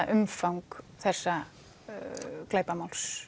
umfang þessa